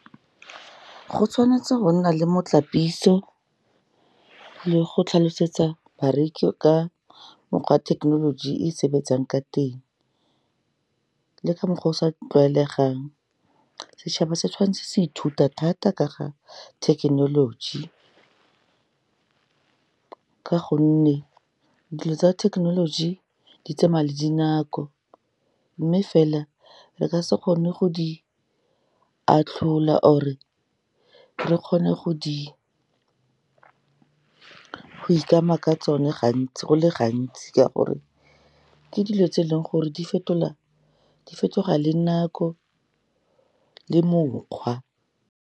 Go tshwanetse go nna le motlapitso, le go tlhalosetsa bareki ka mokgwa thekenoloji e sebetsang ka teng, le ka mokgwa o sa tlwaelegang. Setšhaba se tshwan'tse se ithuta thata ka ga thekenoloji, ka gonne dilo tsa thekenoloji di tsamaya le dinako, mme fela, re ka se kgone go di atlhola, or-e re kgone go go ikama ka tsone go le gantsi ka gore, ke dilo tse e leng gore di fetoga le nako le mokgwa.